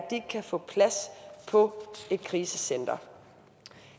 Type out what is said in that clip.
ikke kan få plads på et krisecenter